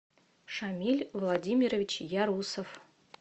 шамиль владимирович ярусов